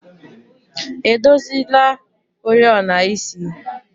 edozila oriọna isi?